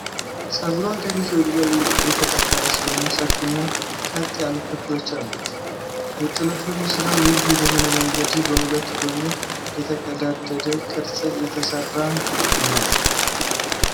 ጉሩ ከፊት ወደ ላይ የተጠፈረ ሲሆን፣ ሰፊና ቀጥ ያሉ ክፍሎች አሉት። የጥልፍልፉ ስራ ልዩ በሆነ መንገድ በሁለት ጎን የተቀዳደደ ቅርፅ የተሰራ ነው።